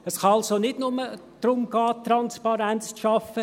Es kann also nicht nur darum gehen, Transparenz zu schaffen: